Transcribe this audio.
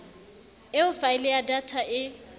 eo faele ya data e